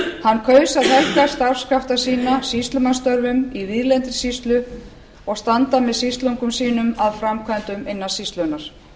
hann kaus að helga starfskrafta sína sýslumannsstörfum í víðlendri sýslu og standa með sýslungum sínum að framkvæmdum innan sýslunnar